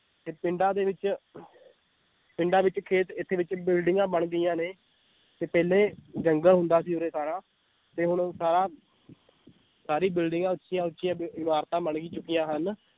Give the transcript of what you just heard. ਤੇ ਪਿੰਡਾਂ ਦੇ ਵਿੱਚ ਪਿੰਡਾਂ ਵਿੱਚ ਖੇਤ ਇੱਥੇ ਵਿੱਚ ਬਿਲਡਿੰਗਾਂ ਬਣ ਗਈਆਂ ਨੇ, ਤੇ ਪਹਿਲੇ ਜੰਗਲ ਹੁੰਦਾ ਸੀ ਉਰੇ ਸਾਰਾ ਤੇ ਹੁਣ ਸਾਰਾ ਸਾਰੀਆਂ ਬਿਲਡਿੰਗਾਂ ਉੱਚੀਆਂ ਉੱਚੀਆਂ ਇਮਾਰਤਾਂ ਬਣ ਚੁੱਕੀਆਂ ਹਨ,